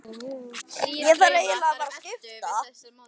Ég þarf eiginlega að fara að skipta.